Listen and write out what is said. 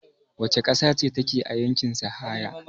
Wace ƙasa ce take a yankin sahara?